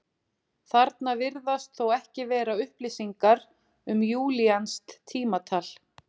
Þarna virðast þó ekki vera upplýsingar um júlíanskt tímatal.